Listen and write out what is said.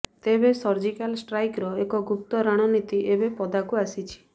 ତେବେ ସର୍ଜିକାଲ ଷ୍ଟ୍ରାଇକର ଏକ ଗୁପ୍ତ ରାଣନୀତି ଏବେ ପଦାକୁ ଆସିଛି